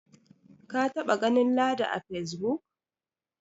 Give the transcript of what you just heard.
ka taba ganin ladi a face book